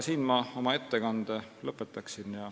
Siin aga ma oma ettekande lõpetan.